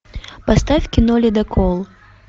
поставь кино ледокол